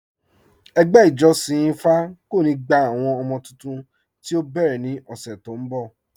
Ẹgbẹ́ ìjọ̀ṣin ìfá kò ní gbà àwọn ọmọ̀ tuntun tí o bẹ́rẹ̀ ní ọṣè tó n bọ̀.